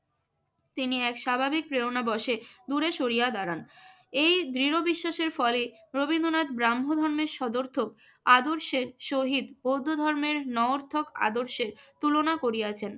তিনি এক স্বাভাবিক প্রেরণাবশে দূরে সরিয়া দাঁড়ান। এই দৃঢ় বিশ্বাসের ফলে রবীন্দ্রনাথ ব্রাহ্ম ধর্মের সদর্থক আদর্শের সহিত বৌদ্ধ ধর্মের নঞর্থক আদর্শের তুলনা করিয়াছেন।